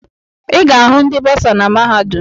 Ị ga-ahụ ndị bọọsa na mahadum.